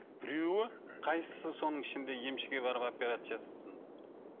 біреуі қайсысы соның ішінде емшіге барып операция жасаттыңдар